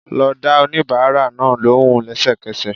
Lọ dá oníbàárà náà lóhùn lẹ́sẹ̀kẹsẹ̀